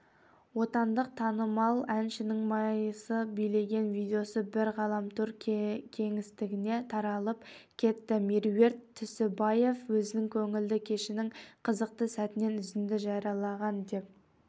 отандық танымал әншінің майыса билеген видеосы бірден ғаламтор кеңістігіне таралып кетті меруерт түсіпбаева өзінің көңілді кешінің қызықты сәтінен үзінді жариялаған деп